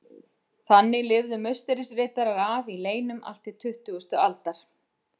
Þannig lifðu Musterisriddarar af í leynum allt til tuttugustu aldar.